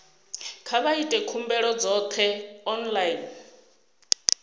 kha vha ite khumbelo dzoṱhe online